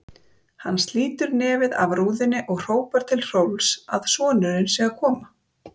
Hann slítur nefið af rúðunni og hrópar til Hrólfs að sonurinn sé að koma.